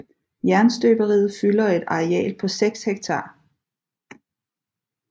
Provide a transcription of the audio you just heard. Jernstøberiet fylder et areal på 6 ha